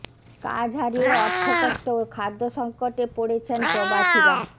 কাজ হারিয়ে অর্থ কষ্ট ও খাদ্য সংকটে পড়েছেন প্রবাসীরা